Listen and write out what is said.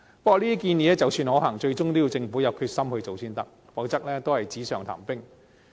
不過，即使這些建議可行，最終亦要政府有決心去做才行，否則只是紙上談兵。